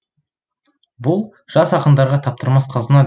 бұл жас ақындарға таптырмас қазына